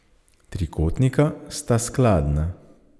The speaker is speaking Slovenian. Trikotnika sta skladna.